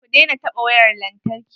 Ku daina taɓa wayar lantarki.